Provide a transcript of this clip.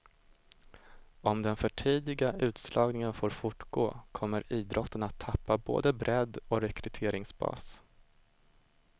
Om den för tidiga utslagningen får fortgå kommer idrotten att tappa både bredd och rekryteringsbas.